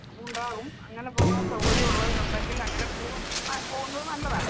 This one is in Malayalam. അത് ഉണ്ടാവും, അങ്ങനെ പോവാൻ സൗകര്യമുള്ളവരുണ്ടെങ്കിൽ അങ്ങനെ പോവും അഹ് പോവുന്നത് നല്ലതാണ്.